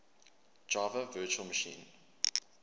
java virtual machine